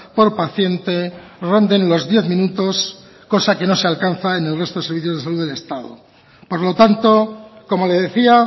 por paciente ronden los diez minutos cosa que no se alcanza en el resto de servicios de salud del estado por lo tanto como le decía